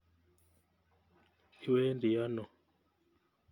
Iwendi ano?